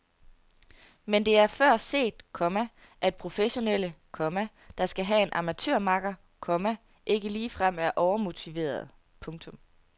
Men det er før set, komma at professionelle, komma der skal have en amatørmakker, komma ikke ligefrem er overmotiverede. punktum